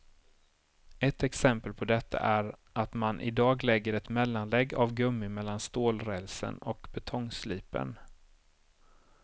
Ett exempel på detta är att man i dag lägger ett mellanlägg av gummi mellan stålrälsen och betongslipern.